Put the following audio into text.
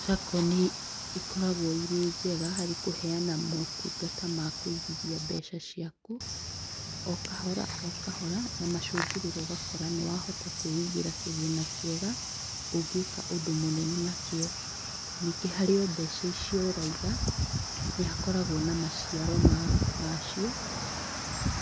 Sacco nĩ ikoragwo irĩ njega harĩ kũheana motungata ma kũigithia mbeca ciaku, o kahora, o kahora, na macongũrĩro ũgakora nĩ wahota kwĩigĩra kĩgĩna kĩega, ũngĩka ũndũ mũnene na kĩo. Ningĩ harĩ mbeca icio ũraiga, nĩ hakoragwo na maciaro macio